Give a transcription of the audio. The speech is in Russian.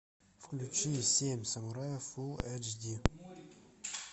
включи семь самураев фул эйч ди